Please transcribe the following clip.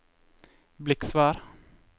Bliksvær